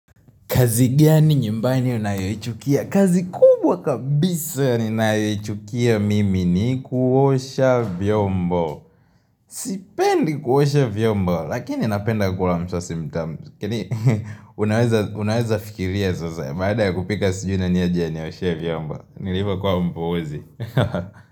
Kazi gani nyumbani unayoichukia. Kazi kubwa kabisa ninayoichukia mimi ni kuosha vyombo. Sipendi kuosha vyombo, lakini napenda kula msosi mtamu. Lakini, unaweza fikiria sasa. Baada ya kupika sijui nani aje anioshe vyombo. Nilipo kuwa mpoozi.